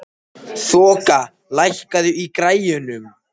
Þoka, lækkaðu í græjunum.